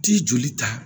Ti joli ta